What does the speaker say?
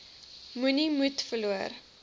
moenie moed verloor